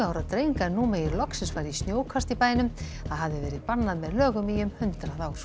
ára dreng að nú megi loksins fara í snjókast í bænum það hafði verið bannað með lögum í um hundrað ár